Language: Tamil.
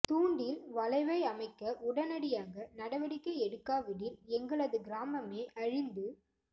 தூண்டில் வளைவை அமைக்க உடனடியாக நடவடிக்கை எடுக்காவிடில் எங்களது கிராமமே அழிந்து